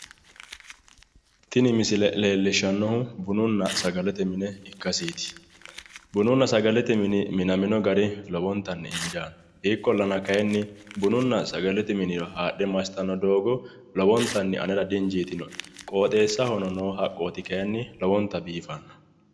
Tini misile leellishshannohu bununna sagalete mine ikkaseeti, bununna sagalete mini minamino gari lowontanni injaanno ikkollana kayiinni, bununna sagalete mine haadhe massitanno doogo lowontanni anera di'injiitino'e qooxeessahono no haqqoti kayiinni lowonta biifanno.